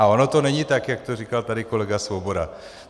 A ono to není tak, jak to říkal tady kolega Svoboda.